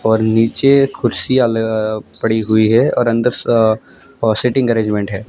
और नीचे कुर्सियां पड़ी हुई है और अंदर सीटिंग अरेंजमेंट है।